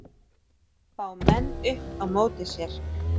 Fá menn upp á móti sér